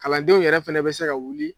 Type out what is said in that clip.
Kalandenw yɛrɛ fɛnɛ bɛ se ka wuli